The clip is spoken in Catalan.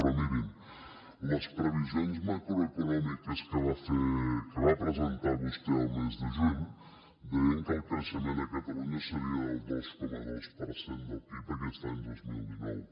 però mirin les previsions macroeconòmiques que va presentar vostè al mes de juny deien que el creixement a catalunya seria del dos coma dos per cent del pib aquest any dos mil dinou